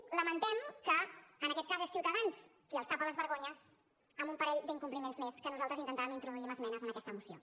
i lamentem que en aquest cas sigui ciutadans qui els tapa les vergonyes en un parell d’incompliments més que nosaltres intentàvem introduir amb esmenes en aquesta moció